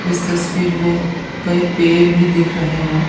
इस तस्वीर में कई पेड़ भी दिख रहे हैं।